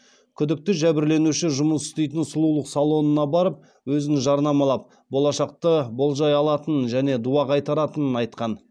күдікті жәбірленуші жұмыс істейтін сұлулық салонына барып өзін жарнамалап болашақты болжай алатынын және дуа қайтаратынын айтқан